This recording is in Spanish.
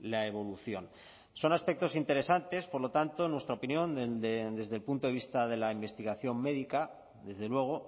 la evolución son aspectos interesantes por lo tanto en nuestra opinión desde el punto de vista de la investigación médica desde luego